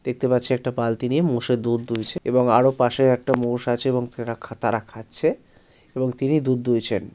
দেখতে পাচ্ছি একটা বালতি নিয়ে মোষের দুধ তুলছে এবং আরো পাশে একটা মোষ আছে এবং রাখা তারা খাচ্ছে এবং তিনি দুধ দুইছেন।